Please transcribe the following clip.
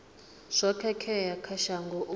zwo khakhea kha shango u